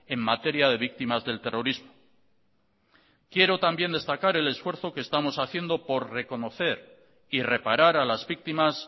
en materia de víctimas del terrorismo quiero también destacar el esfuerzo que estamos haciendo por reconocer y reparar a las víctimas